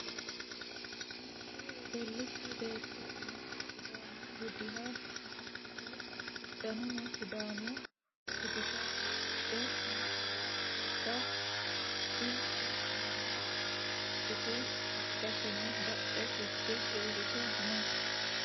Mitte wedellite beetto umose sidaamu budiha amaxite uddanono sidaamu bidita udidhe umisera albaa ilku nooha usudhite albaseno badhe higge uurrite no.